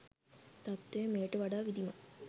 තත්ත්වය මෙයට වඩා විධිමත්